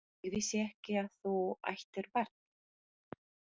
Ég vissi ekki að þú ættir barn?